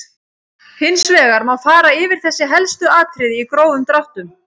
Hins vegar má fara yfir þessi helstu atriði í grófum dráttum.